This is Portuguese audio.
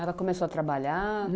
Ela começou a trabalhar?